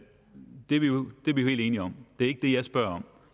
er vi jo helt enige om det er ikke det jeg spørger om